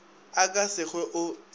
a ka se hwe o